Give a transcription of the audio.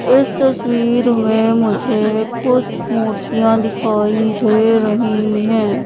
इस तस्वीर मे मुझे कुछ मूर्तियां दिखाई दे रही हैं।